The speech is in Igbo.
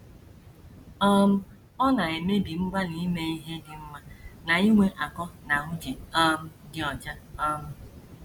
um Ọ na - emebi mgbalị ime ihe dị mma na inwe akọ na uche um dị ọcha. um